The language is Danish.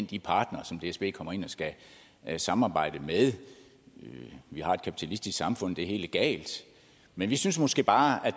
de partnere som dsb kommer ind og skal samarbejde med vi har et kapitalistisk samfund så det er helt legalt men vi synes måske bare at